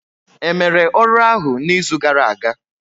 Emere ọrụ ahụ n'izu gara aga?